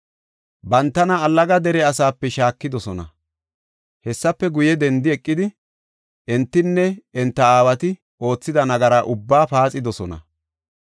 Bantana allaga dere asaape shaakidosona. Hessefe guye dendi eqidi entinne enta aawati oothida nagaraa ubbaa paaxidosona.